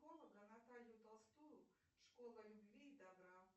наталью толстую школа любви и добра